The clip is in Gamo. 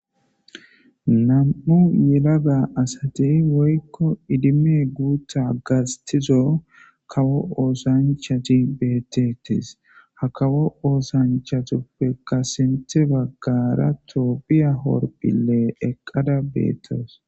nam7u yilega asatey woykko idime guutta gastizo kawo oosanchati beettetis ha kawo oosanchatuppe ka sinte baggara tophiya horphile eqqada beetawus